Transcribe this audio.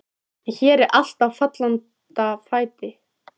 En hér er allt á fallanda fæti.